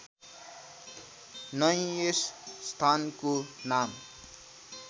नै यस स्थानको नाम